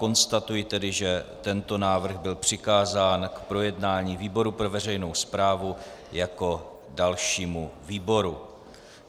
Konstatuji tedy, že tento návrh byl přikázán k projednání výboru pro veřejnou správu jako dalšímu výboru.